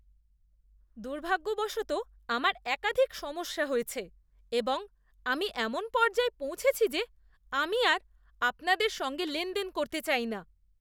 দুর্ভাগ্যবশত আমার একাধিক সমস্যা হয়েছে এবং আমি এমন পর্যায়ে পৌঁছেছি যে আমি আর আপনাদের সঙ্গে লেনদেন করতে চাই না।